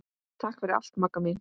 Takk fyrir allt Magga mín.